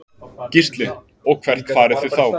Gísli: Og hvert farið þið þá?